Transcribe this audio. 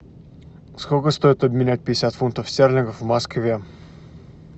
сколько стоит обменять пятьдесят фунтов стерлингов в москве